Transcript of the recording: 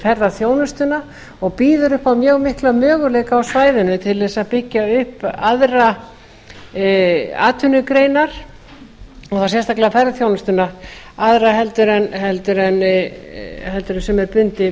ferðaþjónustuna og býður upp á mjög mikla möguleika á svæðinu til þess að byggja upp aðrar atvinnugreinar og þá sérstaklega ferðaþjónustuna aðra heldur en sem er bundið